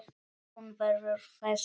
Hún verður þess vör.